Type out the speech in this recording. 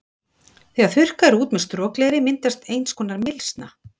Þegar þurrkað er út með strokleðri myndast eins konar mylsna.